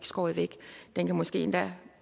skåret væk den kan måske endda